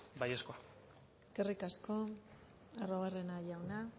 baiezkoa eskerrik asko arruabarrena jauna